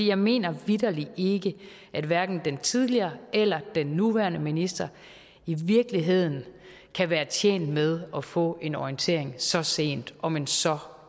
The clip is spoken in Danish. jeg mener vitterlig ikke at hverken den tidligere eller den nuværende minister i virkeligheden kan være tjent med at få en orientering så sent om en så